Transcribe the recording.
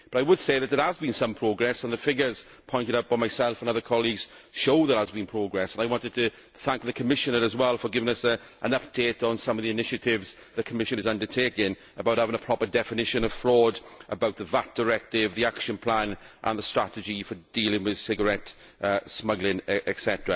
But I would say that there has been some progress the figures pointed out by myself and other colleagues show there has been progress and I wanted to thank the Commissioner as well for giving us an update on some of the initiatives that the Commission is undertaking about having a proper definition of fraud, about the VAT Directive, the action plan and the strategy for dealing with cigarette smuggling, etc.